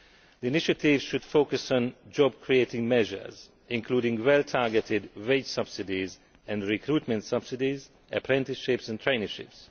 The initiative should focus on job creating measures, including well targeted wage subsidies and recruitment subsidies, apprenticeships and traineeships.